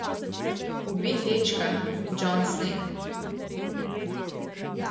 Ubij dečka, Jon Sneg.